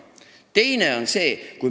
Teine ettepanek on selline.